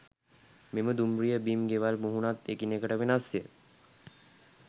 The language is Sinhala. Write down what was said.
මෙම දුම්රිය බිම් ගෙවල් මුහුණත් එකිනෙකට වෙනස්ය.